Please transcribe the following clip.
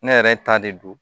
Ne yɛrɛ ta de don